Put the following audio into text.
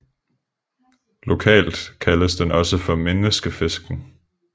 Lokalt kaldes den også for Menneskefisken